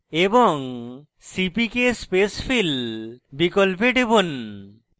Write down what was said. এবং cpk spacefill বিকল্পে টিপুন